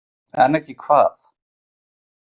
En ekki hvað?